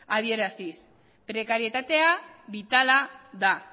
adieraziz prekarietatea bitala da